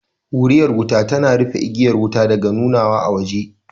Wuriyar wuta tana rufe igiyar wuta daga nunawa a waje